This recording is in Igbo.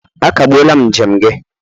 Akagbuola m njem gị!